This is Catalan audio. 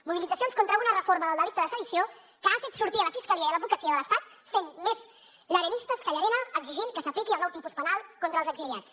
mobilitzacions contra una reforma del delicte de sedició que ha fet sortir la fiscalia i l’advocacia de l’estat sent més llarenistes que llarena exigint que s’apliqui el nou tipus penal contra els exiliats